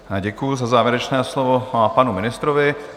Děkuji za závěrečné slovo panu ministrovi.